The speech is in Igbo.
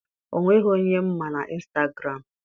O nweghị onye m ma na instagụram.